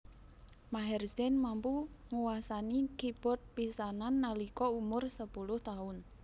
Maher Zain mampu nguasani keybord pisanan nalika umur sepuluh taun